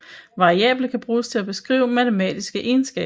Variable kan bruges til at beskrive matematiske egenskaber